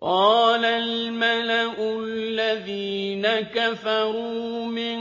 قَالَ الْمَلَأُ الَّذِينَ كَفَرُوا مِن